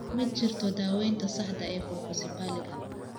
Ma jirto daawaynta saxda ah ee colpocephaliga.